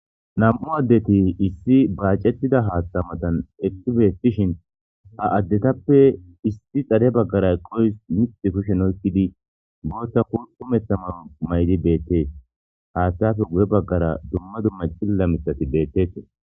Nam'u addeti issi baacetida haaththa matan ekki beettishin ha addetappe issi xare baggaray qoys mixi kushen oykkidi booththa ku umetha man maydi beettees haaththayafe guye baggara dumma dumma cilla misati beettetii.